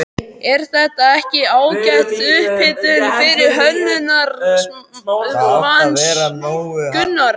Er þetta ekki ágæt upphitun fyrir Hönnunarmars, Gunnar?